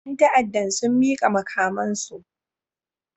Yan ta'addan sun mika makamansu